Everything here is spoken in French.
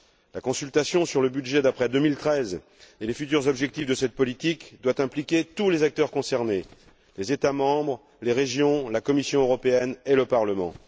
La consultation sur le budget d'après 2013 et les futurs objectifs de cette politique doit impliquer tous les acteurs concernés les États membres, les régions, la Commission européenne et le Parlement.